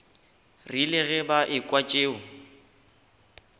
rile ge ba ekwa tšeo